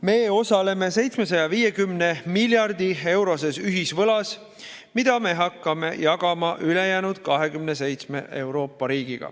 Me osaleme 750 miljardi euroses ühisvõlas, mida hakkavad jagama 27 Euroopa riiki.